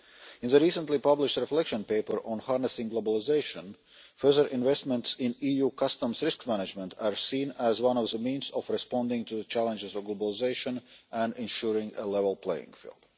In the recently published reflection paper on harnessing globalisation, further investment in EU customs risk management is seen as one of the means of responding to the challenges of globalisation and ensuring a level playing field.